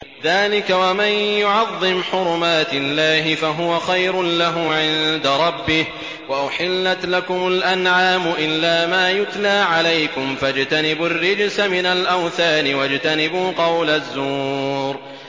ذَٰلِكَ وَمَن يُعَظِّمْ حُرُمَاتِ اللَّهِ فَهُوَ خَيْرٌ لَّهُ عِندَ رَبِّهِ ۗ وَأُحِلَّتْ لَكُمُ الْأَنْعَامُ إِلَّا مَا يُتْلَىٰ عَلَيْكُمْ ۖ فَاجْتَنِبُوا الرِّجْسَ مِنَ الْأَوْثَانِ وَاجْتَنِبُوا قَوْلَ الزُّورِ